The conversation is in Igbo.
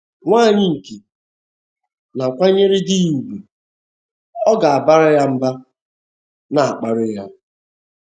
Nwanyị nke na - akwanyere di ya ùgwù, ọ̀ ga - abara ya mba, na - akparị ya?